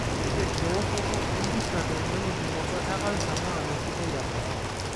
Ore ewoshoto empisha tenakipimoto e kansa naa mesidai abaya.